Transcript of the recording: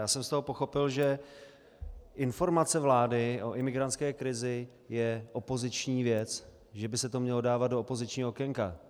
Já jsem z toho pochopil, že informace vlády o imigrantské krizi je opoziční věc, že by se to mělo dávat do opozičního okénka.